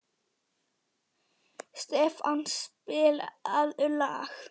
Stefán, spilaðu lag.